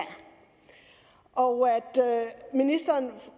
og